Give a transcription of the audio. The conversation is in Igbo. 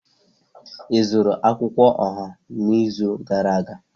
Ị zụrụ akwukwuo oha n'izu gara aga?